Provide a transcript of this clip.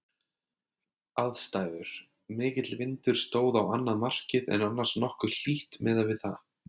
Aðstæður: Mikill vindur stóð á annað markið en annars nokkuð hlýtt miðað við það.